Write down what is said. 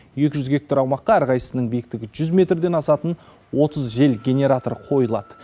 екі жүз гектар аумаққа әрқайсысының биіктігі жүз метрден асатын отыз жел генераторы қойылады